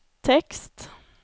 tekst